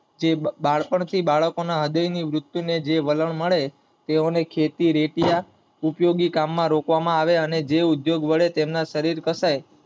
જે બાળપણ ની બાળકો ના હ્રદય ની વૃત્તિ ને જે વલણ મળે, તેઓ ને ખેતી રેતી ના અનેઉપયોગી કામ માં રોકવામાં આવે જેઉદ્યોગ વડે શરીર ઘસાય